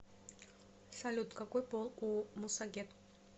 салют какой пол у мусагет